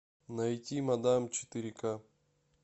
найти мадам четыре ка